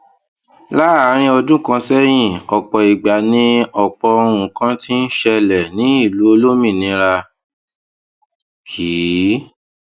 láàárín ọdún kan séyìn òpò ìgbà ni òpò nǹkan ti ń ṣẹlè ní ìlú olómìnira yìí